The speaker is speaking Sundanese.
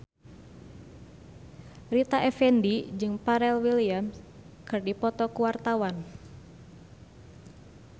Rita Effendy jeung Pharrell Williams keur dipoto ku wartawan